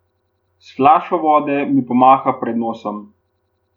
S flašo vode mi pomaha pred nosom.